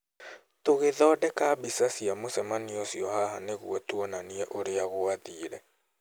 Tũgĩthondeka mbica cia mũcemanio ũcio haha nĩguo tuonanie ũrĩa gwathire.